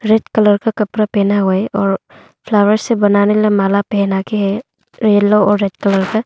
Red colour का कपड़ा पहना हुआ है और फ्लावर से बनाने वाला माला पहना के है येलो और रेड कलर से।